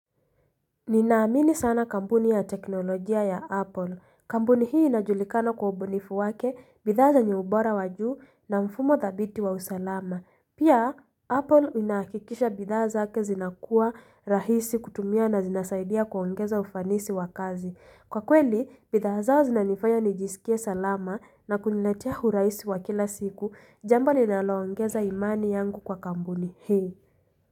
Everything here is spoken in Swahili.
Ninaamini sana kampuni ya teknolojia ya Apple. Kampuni hii inajulikana kwa ubunifu wake, bidhaa zenye ubora wajuu na mfumo dhabiti wa usalama. Pia, Apple inakikisha bidhaa zake zinakuwa rahisi kutumia na zinasaidia kuongeza ufanisi wa kazi. Kwa kweli, bidhaa zao zinanifanya nijisikie salama na kuniletea urahisi wa kila siku. Jambo linalo ongeza imani yangu kwa kampuni hii.